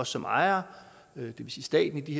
som ejere det vil sige staten i